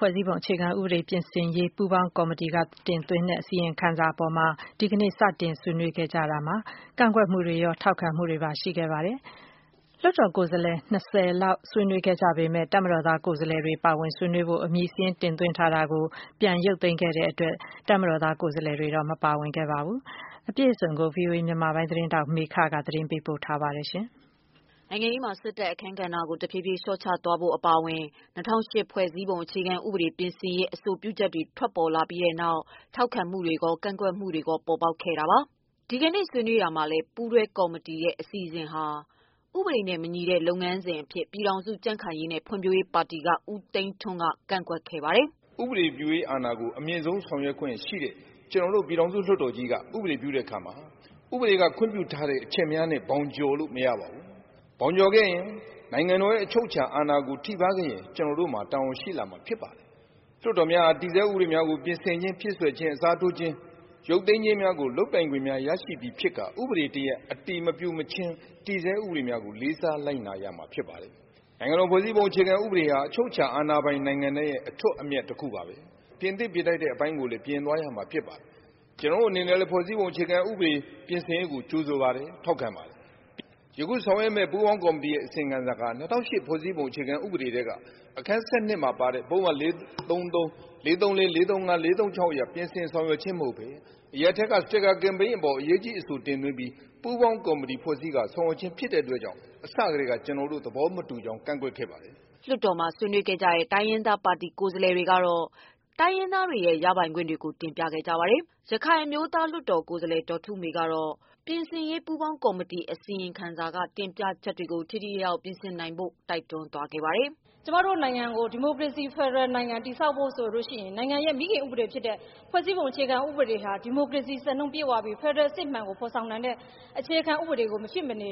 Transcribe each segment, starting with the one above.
ဖွဲ့စည်းပုံအခြေခံဥပဒေ ပြင်ဆင်ရေး ပူးပေါင်းကော်မတီတင်သွင်းထားတဲ့ အစီရင်ခံစာအပေါ် ဒီကနေ့ စတင်ဆွေးနွေးရာမှာ ကန့်ကွက်မှုတွေရော၊ ထောက်ခံမှုတွေပါ ရှိခဲ့ပါတယ်။ လွှတ်တော်ကိုယ်စားလှယ် ၂၀ လောက် ဆွေးနွေးခဲ့ကြပေမဲ့ ပါဝင်ဆွေးနွေးဖို့ အမည်စာရင်း တင်သွင်းထားတာကို ရုပ်သိမ်းထားတဲ့အတွက် တပ်မတော်သား ကိုယ်စားလှယ်တွေတော့ မပါဝင်ခဲ့ပါဘူး။ အပြည့်အစုံကိုတာ့ ဗွီအိုအေ မြန်မာပိုင်း သတင်းထောက် မေခက သတင်းပေးပို့ထားပါတယ်။ နိုင်ငံရေးမှာ စစ်တပ်ရဲ့ အခန်းကဏ္ဍကို တဖြည်းဖြည်း လျှော့ချသွားဖို့ အပါအဝင် ၂၀၀၈ ဖွဲ့စည်းပုံ အခြေခံဥပဒေ ပြင်ဆင်ရေး အဆိုပြုချက်တွေ ထွက်လာပြီးနောက် ထောက်ခံမှုတွေ၊ ကန့်ကွက်မှုတွေ ပေါ်ပေါက်နေတာပါ။ ဒီကနေ့ ဆွေးနွေးရာမှာလည်း ပူးတွဲကော်မတီရဲ့ အစီအစဉ်ဟာ ဥပဒေနဲ့ မညီတဲ့ လုပ်ငန်းစဉ်အဖြစ် ပြည်ထောင်စု ကြံ့ခိုင်ရေးနဲ့ ဖွံ့ဖြိုးရေးပါတီက ဦးသိန်းထွန်း က ကန့်ကွက်ခဲ့ပါတယ်။ “ဥပဒေပြုအာဏာကို အမြင့်ဆုံးဆောင်ရွက်ခွင့်ရှိတဲ့ ပြည်ထောင်စုလွှတ်တော်ကြီးက ဥပဒေပြုတာမှာ ဥပဒေက ခွင့်ပြုထားတဲ့ အချက်များနဲ့ ဘောင်ကျော်လို့မရပါဘူး။ ဘောင်ကျော်ခဲ့ရင် နိုင်ငံတော်ရဲ့ အချုပ်အခြာအာဏာထိပါး ခဲ့ရင် ကျနော်တို့မှာတာဝန်ရှိလာပါလိမ့်မယ်။ လွှတ်တော်များက တည်ဆဲဥပဒေများကို ပြင်ဆင်ခြင်း၊ အစားထိုးခြင်း၊ ဖြည့်စွက်ခြင်း၊ ရုပ်သိမ်းခြင်းများကို လုပ်ပိုင်ခွင့်များရရှိပြီဖြစ်ကာ ဥပဒေ အတည်မပြုမချင်း တည်ဆဲဥပဒေကိုလေးစားကြရပါမယ်။ နိုင်ငံတော် ဖွဲ့စည်းပုံအခြေခံဥပဒေဟာ အချုပ်အခြာအာဏာပိုင်တဲ့နိုင်ငံတိုင်းအတွက် အထွဋ်အမြတ်ပါဘဲ။ ပြင်သင့်ပြင်ထိုက်တာတွေကိုပြင်ဆင်ရမှာပါ။ ကျနော်တို့အနေနဲ့လည်း ဖွဲ့စည်းပုံအခြေခံဥပဒေ ပြင်ဆင်ရေးကို ကြိုဆိုပါတယ်၊ ထောက်ခံပါတယ်။ ယခု ဆောင်ရွက်မယ့် ပူးပေါင်းကော်မတီ အစီရင်ခံစာက၂၀၀၈ ဖွဲ့စည်းပုံအခြေခံဥပဒေ ထဲက အခန်း ၁၂မှာပါတဲ့ ပုဒ်မ ၄၃၃၊ ပုဒ်မ ၄၃၄-၄၃၅- ၄၃၆ တို့ရဲ့ ပြင်ဆင်ဆောင်ရွက်ခြင်းကို အရပ်ထဲက စတစ်ကာကမ်ပိန်းအပေါ် အရေးကြီးအဆိုတင်ပြီး ပူးပေါင်းကော်မတီဖွဲ့စည်းကာ ဆောင်ရွက်ခြင်း ဖြစ်တဲ့အတွက်အစထဲက ကျနော်တို့ သဘောမတူကြောင်း ကန့်ကွက်ခဲ့ပါတယ်။” လွှတ်တော်မှာ ဆွေးနွေးခဲ့ကြတဲ့ တိုင်းရင်းသားပါတီ ကိုယ်စားလှယ်တွေကတော့ တိုင်းရင်းသားတွေရဲ့ ရပိုင်ခွင့်တွေကို တင်ပြခဲ့ကြပါတယ်။ ရခိုင်အမျိုးသားလွှတ်တော်ကိုယ်စားလှယ် ဒေါ်ထုမေကတော့ ပြင်ဆင်ရေး ပူးပေါင်းကော်မတီ အစီရင်ခံစာမှာ တင်ပြချက်တွေကို ထိထိရောက်ရောက် ပြင်ဆင်နိုင်ဖို့ တိုက်တွန်းသွားပါတယ်။ “ကျမတို့နိုင်ငံကို ဒီမိုကရေစီဖက်ဒရယ်နိုင်ငံ တည်ဆောက်ဖို့ ဆိုရင် နိုင်ငံရဲ့ မိခင်ဥပဒေဖြစ်တဲ့ ဖွဲ့စည်းပုံအခြေခံဥပဒေဟာ ဒီမိုကရေစီ စံနှုန်းပြည့်ဝပြီး ဖက်ဒရယ် အစစ်အမှန်ကို ဖော်ဆောင်နိုင်တဲ့ အခြေခံဥပဒေကို မရှိမနေ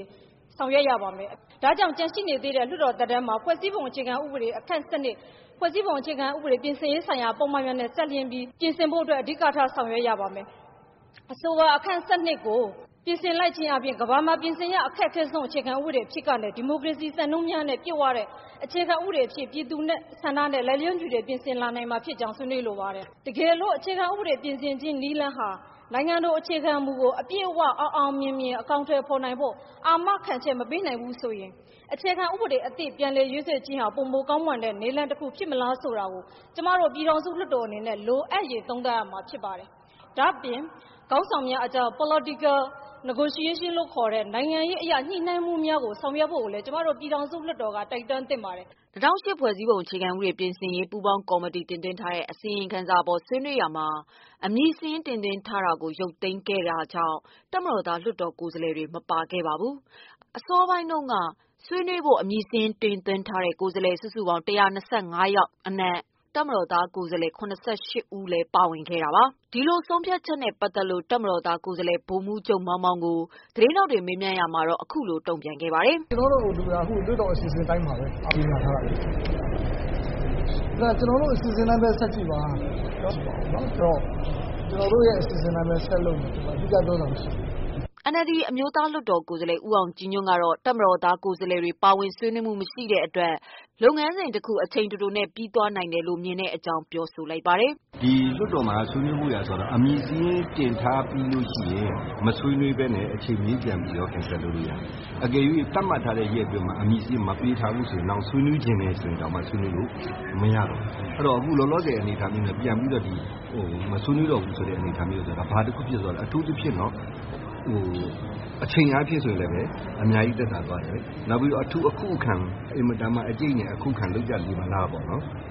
ဆောင်ရွက်ရပါမယ်။ ဒါကြောင့် ကျန်ရှိနေတဲ့ လွှတ်တော်သက်တမ်းမှာ ဖွဲ့စည်းပုံအခြေခံဥပဒေ အခန်း ၁၂၊ ဖွဲ့စည်းပုံအခြေခံဥပဒေ ပြင်ဆင်ရေးဆိုင်ရာပုဒ်မတွေနဲ့ ပတ်သတ်ပြီး ပြင်ဆင်ဖို့အတွက် အဓိကထားဆောင်ရွက်ရပါမယ်။ အဆိုပါ အခန်း ၁၂ ကို ပြင်ဆင်လိုက်ခြင်းဖြင့်ကမ္ဘာမှာ ပြင်ဆင်ရ အခက်ခဲဆုံး အခြေခံဥပဒေအဖြစ်ကနေ ဒီမိုကရေစီ စံနှုန်းများနဲ့ ပြည့်ဝတဲ့ အခြေခံဥပဒေအဖြစ် ပြည်သူ့ဆန္ဒနဲ့ လိုက်လျောညီထွေ ပြင်ဆင်လာနိုင်မှာဖြစ်ကြောင်း ဆွေးနွေးလိုပါတယ်။ တကယ်လို့ အခြေခံ ဥပဒေ ပြင်ဆင်ခြင်း နည်းလမ်းဟာ နိုင်ငံတော်အခြေခံမှုကို အပြည့်အ၀ အောင်အောင်မြင်မြင် အကောင်အထည်ဖော်နိုင်ဖို့ အာမခံချက် မပေးနိုင်ဘူးဆိုရင် အခြေခံဥပဒေအသစ် ပြန်လည်ရေးဆွဲခြင်းဟာ ပိုမို ကောင်းမွန်တဲ့ နည်းလမ်းတခုဖြစ်မလားဆိုတာ ကျမတို့ ပြည်ထောင်စုလွှတ်တော်အနေနဲ့ လိုအပ်ရင်သုံးသပ်ရမှာဖြစ်ပါတယ်။ ဒါ့အပြင် ခေါင်းဆောင်များအကြား Political negotiation လို့ခေါ်တဲ့ နိုင်ငံရေးအရ ညှိနှိုင်းမှုများကို ဆောင်ရွက်ဖို့ကိုလည်း ကျမတို့ ပြည်ထောင်စုလွှတ်တော်က တိုက်တွန်းသင့်ပါတယ်။” ၂ဝဝ၈ ဖွဲ့စည်းပုံအခြေခံဥပဒေ ပြင်ဆင်ရေးပူးပေါင်းကော်မတီတင်သွင်း ထားတဲ့ အစီ ရင်ခံစာအပေါ် ဆွေးနွေးရာမှာ အမည်စာရင်း တင်သွင်းထားတာကို ရုပ်သိမ်းခဲ့တဲ့ တပ်မတော်သား ကိုယ်စားလှယ် တွေတော့ မပါခဲ့ပါဘူး။ အစောပိုင်းမှာတုန်းက ဆွေးနွေးဖို့ အမည်စာရင်း တင်သွင်းထားတဲ့ ကိုယ်စားလှယ် စုစုပေါင်း ၁၂၅ ယောက်အနက် တပ်မတော်သား ကိုယ်စားလှယ် ၇၈ ဦး လည်းပါဝင်ခဲ့တာပါ။ ဆုံးဖြတ်ချက်နဲ့ ပတ်သက်လို့ တပ်မတော်သား ကိုယ်စားလှယ် ဗိုလ်မှူးချုပ် မောင်မောင်ကို သတင်းထောက်တွေက မေးမြန်းရာမှာတော့ အခုလို တုံ့ပြန်ခဲ့ပါတယ်။ “ကျနော်တို့အစီအစဉ်က လွှတ်တော်အစီအစဉ်အတိုင်းပါဘဲ။ ကြေညာထားတာဘဲလေ။ ကျနော်တို့အစီအစဉ် တိုင်းဘဲဆက်ကြည့်ပါ။ ကျနော်တို့အစီအစဉ်အတိုင်းဘဲဆက်လုပ် မှာဆိုတော့ထူးထူးခြားခြားပြောစရာမရှိပါဘူး” NLD အမျိုးသားလွှတ်တော် ကိုယ်စားလှယ် ဦးအောင်ကြည်ညွှန့် ကတော့ တပ်မတော်သားကိုယ်စားလှယ်တွေ ပါဝင်ဆွေးနွေးမှု မရှိတဲ့ အတွက် လုပ်ငန်းစဉ်တခု အချိန်တိုတိုနဲ့ ပြီးသွားနိုင်တယ်လို့ မြင်တဲ့အကြောင်းပြောပါတယ်။ “လွှတ်တော်မှာ ဆွေးနွေးဖို့ဆိုတာကလည်း အမည်စာရင်းတင်ထားပြီး မဆွေးနွေးပဲနဲ့ အချိန်မရွေး ပြန်ရုပ်သိမ်းလို့ရတယ်။ အကယ်၍သတ်မှတ်ထားတဲ့ ရက်အတွင်းမှာ အမည်စာရင်း မတင်သွင်းရင်နောင် ဆွေးနွေးချင်ရင်တောင်မှ ဆွေးနွေးလို့မရဘူး။ အခုလောလောဆယ် အနေအထားနဲ့ ပြန်ပြီးတော့ မဆွေးနွေးဘူးဆို တာကျတော့ဘာတခုဖြစ်လဲဆိုရင် အချိန်အားဖြင့်အများကြီးသက်သာသွားတယ်။ နောက်အထူးအခုအခံ အတိုက်အခံများဖြစ်မလားပေါ့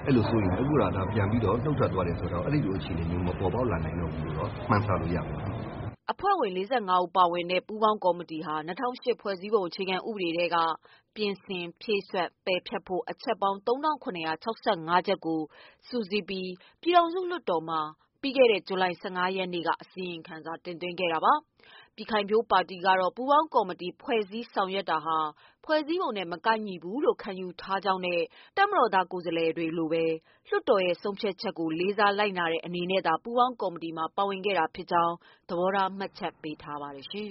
အဲလိုစိုးရိမ်တယ်၊ အခုတော့ ပြန်ပြီးတော့ နုတ်ထွက်သွားတယ်ဆိုတော့ အဲလိုအခြေအနေမျိုးမပေါ်ပေါက်လာနိုင်တော့ဘူးလို့ မှန်းဆလို့ရတာပေါ့” အဖွဲ့ဝင် ၄၅ ဦးပါဝင်တဲ့ ပူးပေါင်းကော်မတီဟာ ၂ဝဝ၈ ဖွဲ့စည်းပုံအခြေခံဥပဒေထဲက ပြင်ဆင်၊ ဖြည့်စွက်၊ ပယ်ဖျက်ဖို့ အချက်ပေါင်း ၃၇၆၅ ချက်ကို စုစည်းပြီး ပြည်ထောင်စုလွှတ်တော်မှာ ဇူလိုင်လ ၁၅ ရက်နေ့က အစီရင်ခံစာ တင်သွင်းခဲ့တာပါ။ ပြည်ခိုင်ဖြိုးပါတီကတော့ ပူးပေါင်းကော်မတီ ဖွဲ့စည်းဆောင်ရွက်တာဟာ ဖွဲ့စည်းပုံနဲ့ မကိုက်ညီဘူးလို့ ခံယူထားကြောင်းနဲ့ တပ်မတော်သား ကိုယ်စားလှယ်တွေလိုပဲ လွှတ်တော်ရဲ့ဆုံးဖြတ်ချက်ကို လေးစားလိုက်နာတဲ့ အနေနဲ့သာ ပူးပေါင်းကော်မတီမှာ ပါဝင်ခဲ့တာဖြစ်ကြောင်းလည်း သဘောထား မှတ်ချက်ပေးထားပါတယ်။